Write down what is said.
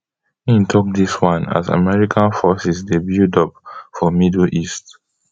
in tok dis one as american forces dey buildup for middle east